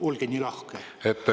Olge nii lahke!